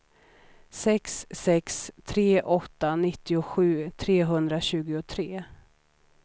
sex sex tre åtta nittiosju trehundratjugotre